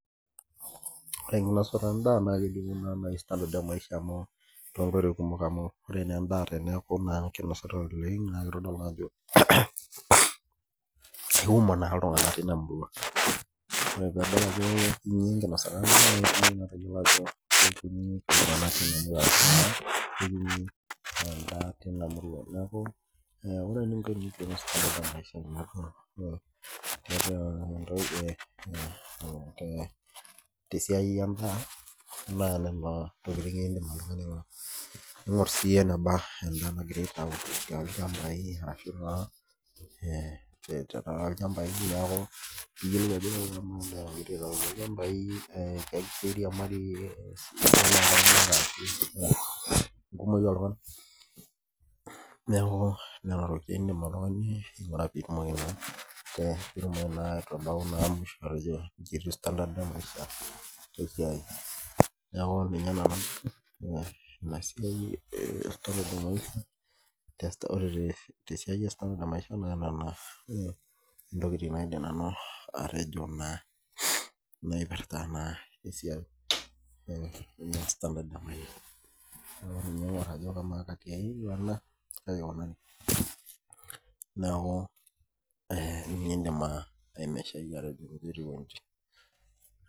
Ore enkonosata en'daa naa kelimu naa nai standard e maisha amu tongoitoi kumok amu ore naa en'daa teniaku naa keinositai oleng' naa keitodolu naa ajo kumok naa iltung'ana teina murua ore paa kuti enkinosata en'daa tayiolo naa ajo kuti iltung'ana teina murua niaku eeh..tesiai en'daa naa nena tokiting in'dim atayiolo ning'ur siiyie eneba en'daa nagirai aitau tolchambai ashu taa tenaa ilchambai niaku niyiolou naa...engumoi ooltunganak. Nena tokiting in'dim aing'ura piitumoki naa aingura ajo standard e maisha , niaku ore te siai e standard e maisha naa nena ntokiting naidim nanu atejo naa naipirta naa esiai e standard e maisha niaku ninye in'dim aimeshayie ajo inji etiu woo inji